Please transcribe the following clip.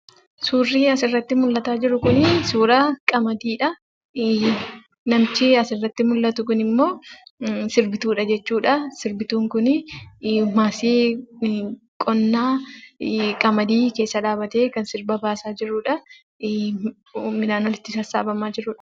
Suurri asirratti mul'ataa jiru kunii suuraa qamadiidhaa. Namichi asirratti mul'atu kunimmoo sirbituudha jechuudha.. Sirbituun kun qamadii keessa dhaabbatee kan sirba baasaa jirudha. Midhaan walitti sassaabamaa jirudha.